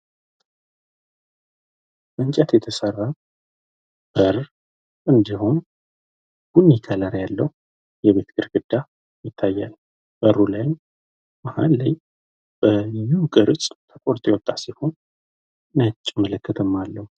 ከእንጨት የተሰራ በር እንዲሁም ቀይ ከለር ያለው የቤት ግርግዳ ያለው ሲሆን በሩም በቡለን ቅርጽ ተቆርጦ የወጣ ሲሆን ነጭ ምልክትም አለው።